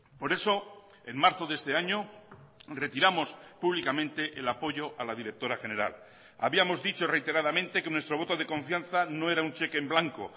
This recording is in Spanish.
por eso en marzo de este año retiramos públicamente el apoyo a la directora general habíamos dicho reiteradamente que nuestro voto de confianza no era un cheque en blanco